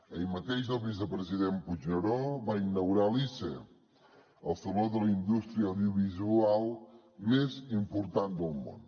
ahir mateix el vicepresident puigneró va inaugurar l’ise el saló de la indústria audiovisual més important del món